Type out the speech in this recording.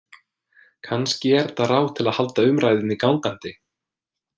Kannski er þetta ráð til að halda umræðunni gangandi.